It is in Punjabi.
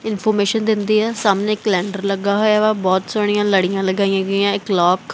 ਇਨਫੋਰਮੇਸ਼ਨ ਦਿੰਦੀ ਆ ਸਾਹਮਣੇ ਇਕ ਕੈਲੰਡਰ ਲੱਗਾ ਹੋਇਆ ਬਹੁਤ ਸੋਹਣੀਆਂ ਲੜੀਆਂ ਲਗਾਈਆਂ ਗਈਆਂ ਇਕ ਕਲੋਕ --